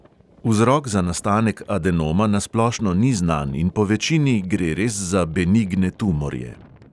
Vzrok za nastanek adenoma na splošno ni znan in po večini gre res za benigne tumorje.